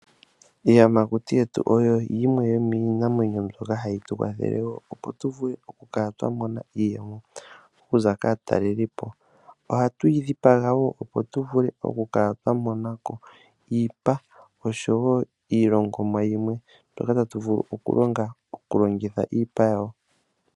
Iiyamakuti yetu oyo yimwe yomiinamwenyo ndjoka hatu longitha opo twiimonene iiyemo okuza kaataleli. Ohatwii dhipanga opo tu vule okumonako iipa ndjoka hatu longitha okulongamo iilongomwa yayolokathana.